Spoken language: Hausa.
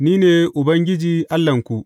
Ni ne Ubangiji Allahnku.